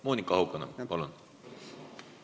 Monika Haukanõmm, palun!